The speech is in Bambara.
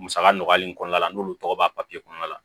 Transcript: Musaka nɔgɔyali in kɔnɔna la n'olu tɔgɔ b'a kɔnɔna la